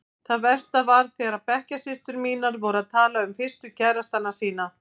Það versta var þegar bekkjarsystur mínar voru að tala um fyrstu kærastana sína.